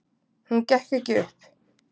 Hún gekk ekki upp.